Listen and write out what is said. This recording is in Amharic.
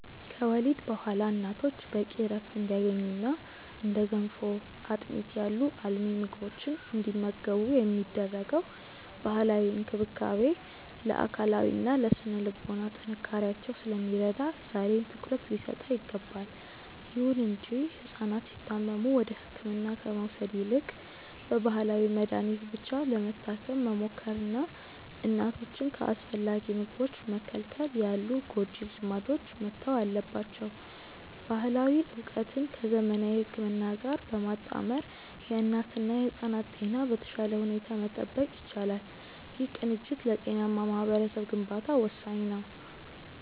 ከወሊድ በኋላ እናቶች በቂ ዕረፍት እንዲያገኙና እንደ ገንፎና አጥሚት ያሉ አልሚ ምግቦችን እንዲመገቡ የሚደረገው ባህላዊ እንክብካቤ ለአካላዊና ለሥነ-ልቦና ጥንካሬያቸው ስለሚረዳ ዛሬም ትኩረት ሊሰጠው ይገባል። ይሁን እንጂ ሕፃናት ሲታመሙ ወደ ሕክምና ከመውሰድ ይልቅ በባህላዊ መድኃኒት ብቻ ለመታከም መሞከርና እናቶችን ከአስፈላጊ ምግቦች መከልከል ያሉ ጎጂ ልማዶች መተው አለባቸው። ባህላዊ ዕውቀትን ከዘመናዊ ሕክምና ጋር በማጣመር የእናትና የሕፃናትን ጤና በተሻለ ሁኔታ መጠበቅ ይቻላል። ይህ ቅንጅት ለጤናማ ማኅበረሰብ ግንባታ ወሳኝ ነው።